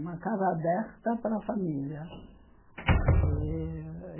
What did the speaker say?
Uma casa aberta para a família. Eh